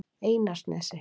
Einarsnesi